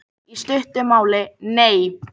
Í stuttu máli: Nei.